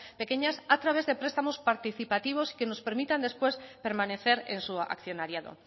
pequeñas a través de prestamos participativos y que nos permitan después permanecer en su accionariado